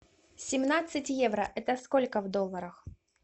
семнадцать евро это сколько в долларах